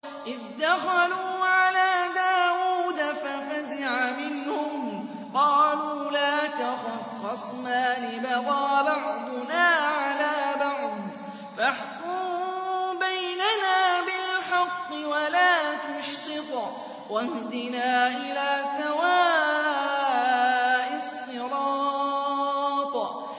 إِذْ دَخَلُوا عَلَىٰ دَاوُودَ فَفَزِعَ مِنْهُمْ ۖ قَالُوا لَا تَخَفْ ۖ خَصْمَانِ بَغَىٰ بَعْضُنَا عَلَىٰ بَعْضٍ فَاحْكُم بَيْنَنَا بِالْحَقِّ وَلَا تُشْطِطْ وَاهْدِنَا إِلَىٰ سَوَاءِ الصِّرَاطِ